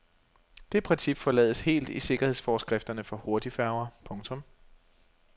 Det princip forlades helt i sikkerhedsforskrifterne for hurtigfærger. punktum